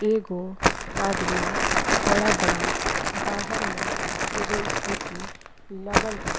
एगो आदमी खड़ा बाड़न। बाहर में एगो स्कूटी लगल बा।